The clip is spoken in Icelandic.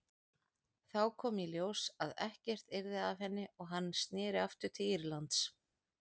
Þá kom í ljós að ekkert yrði af henni og hann sneri aftur til Írlands.